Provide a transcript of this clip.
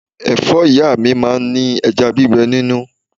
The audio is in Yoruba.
Ẹ̀fọ́ ìyá mi máa ń ní ẹja gbígbé nínú.